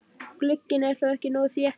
Glugginn er þá ekki nógu þéttur.